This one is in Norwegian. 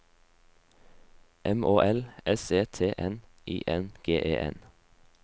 M Å L S E T N I N G E N